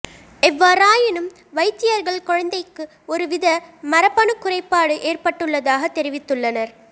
எவ்வறாயினும் வைத்தியர்கள் குழந்தைக்கு ஒருவித மரபணு குறைப்பாடு ஏற்பட்டுள்ளதாக தெரிவித்துள்ளனர்